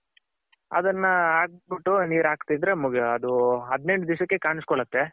ಅದನ್ನ ಹಾಕ್ಬಿಟ್ಟು ನೀರ್ ಹಾಕ್ತಿದ್ರೆ ಮುಗಿ ಅದು ಹದಿನೆಂಟ್ ದಿಸಕ್ಕೆ ಕಾಣ್ಸ್ ಕೊಳ್ಳುತ್ತೆ.